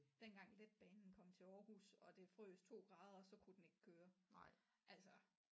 Dengang letbanen kom til Aarhus og det frøs 2 grader og så kunne den ikke køre altså